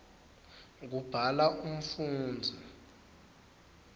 kubhala umfundzi